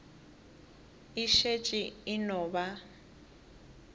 e šetše e no ba